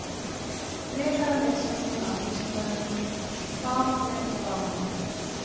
Frekara lesefni af Vísindavefnum: Hvað er rafmagn?